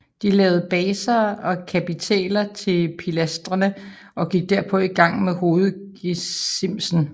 De lavede baser og kapitæler til pilastrene og gik derpå i gang med hovedgesimsen